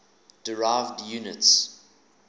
derived units